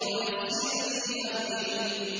وَيَسِّرْ لِي أَمْرِي